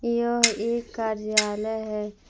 यह एक कार्यालय है।